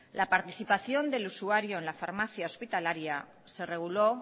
la participación del usuario en la farmacia hospitalaria se reguló